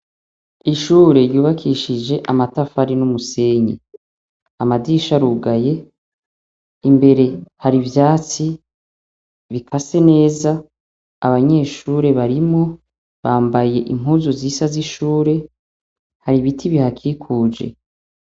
Ishure ryubakishije amatafari n'umusenyi. Amadirisha arugaye, imbere hari ivyatsi bikase neza, abanyeshure barimwo bambaye Impuzu zisa z'ishure, hari ibiti bihakikuje.